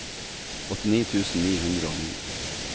åttini tusen ni hundre og ni